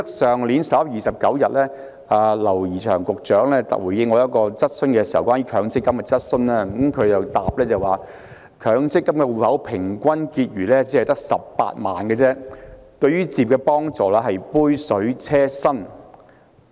去年11月29日，劉怡翔局長回應我一項有關強積金的質詢時說，強積金戶口平均結餘只有18萬元，對於置業的幫助是杯水車薪。